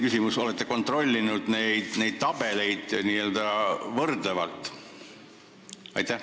Kas te olete – see on teine küsimus – neid tabeleid võrdlevalt kontrollinud?